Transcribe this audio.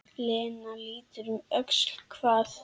Lena lítur um öxl: Hvað?